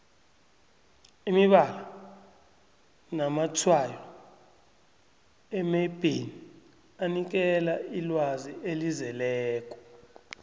imibala namatshwayo emebheni anikela ilwazi elizeleko